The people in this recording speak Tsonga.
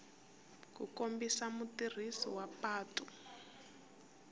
ku kombisa mutirhisi wa patu